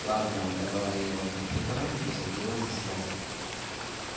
ладно оторвала я его от компьютера и усадила за стол